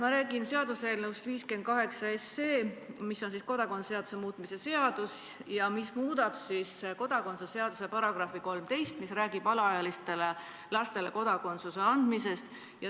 Ma räägin seaduseelnõust 58, mis on kodakondsuse seaduse muutmise seaduse eelnõu ja tahab muuta selle seaduse § 13, mis räägib alaealistele kodakondsuse andmisest.